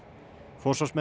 forsvarsmenn